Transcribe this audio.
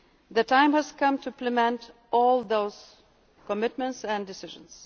debt levels. The time has come to implement all those commitments and